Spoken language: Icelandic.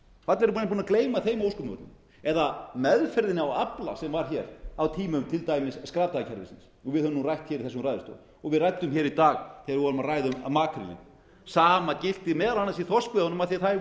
eru menn búnir að gleyma þeim ósköpum eða meðferðinni á afla sem var hér á tímum til dæmis skrapdagakerfisins og við höfum nú rætt hér í þessum ræðustól og við ræddum hér í dag þegar við vorum að ræða um makrílinn sama gilti meðal annars í þorskveiðunum af því þær